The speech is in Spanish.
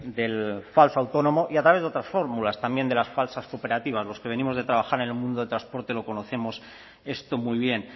del falso autónomo y a través de otras fórmulas también de las falsas cooperativas los que venimos de trabajar en el mundo de transporte lo conocemos esto muy bien